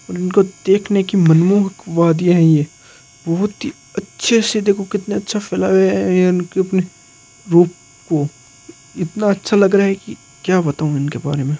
इनको देखने कि मनमोहक वादिया है बहुत ही अच्छे से देखो कितनी अच्छा फैलाए हुए हैं ये इनके रूप को इतना अच्छा लग रहा है कि क्या बताऊँ में इनके बारे में।